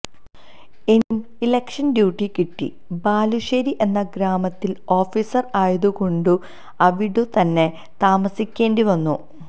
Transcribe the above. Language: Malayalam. എനിക്കും ഇലക്ഷന് ഡ്യൂട്ടി കിട്ടി ബാലുശേരി എന്ന ഗ്രാമത്തില് ഓഫീസര് ആയതുകൊണ്ടു അവിടത്തന്നെ താമസിക്കേണ്ടി വന്നു